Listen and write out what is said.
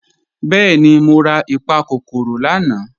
Bẹẹni, mọ̀ rà ìpàkọ́kọ́rò lànà.